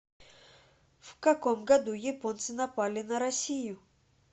в каком году японцы напали на россию